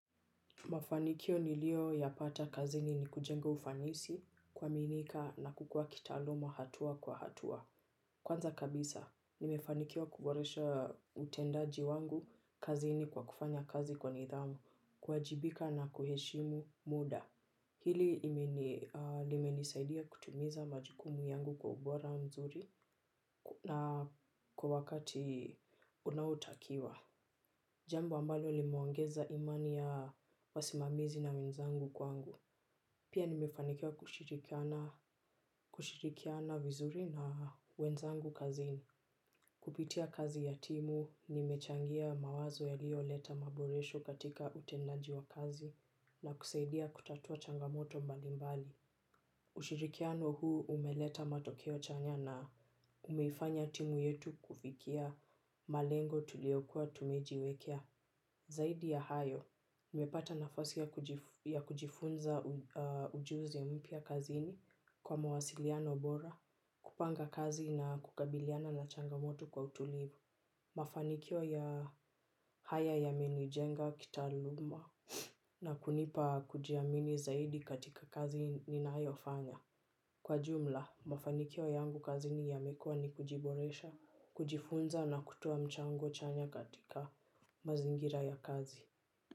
Mafanikio niliyoyapata kazini ni kujenga ufanisi, kuaminika na kukua kitaaluma hatua kwa hatua. Kwanza kabisa, nimefanikiwa kuboresha utendaji wangu kazini kwa kufanya kazi kwa nidhamu, kuwajibika na kuheshimu muda. Hili limenisaidia kutimiza majukumu yangu kwa ubora mzuri na kwa wakati unaotakiwa. Jambo ambalo limeongeza imani ya wasimamizi na wenzangu kwangu. Pia nimefanikiwa kushirikiana vizuri na wenzangu kazini. Kupitia kazi ya timu, nimechangia mawazo yaliyoleta maboresho katika utendaji wa kazi na kusaidia kutatua changamoto mbalimbali. Ushirikiano huu umeleta matokeo chanya na umeifanya timu yetu kufikia malengo tuliyokuwa tumejiwekea. Zaidi ya hayo, nimepata nafasi ya kujifunza ujuzi mpya kazini kwa mawasiliano bora, kupanga kazi na kukabiliana na changamoto kwa utulivu. Mafanikio haya yamenijenga kitaaluma na kunipa kujiamini zaidi katika kazi yangu ninayofanya. Kwa jumla, mafanikio yangu kazini yamekuwa ni kujiboresha, kujifunza na kutoa mchango chanya katika mazingira ya kazi.